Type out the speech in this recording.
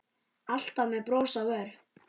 Alltaf með bros á vör.